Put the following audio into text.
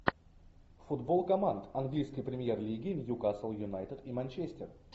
футбол команд английской премьер лиги ньюкасл юнайтед и манчестер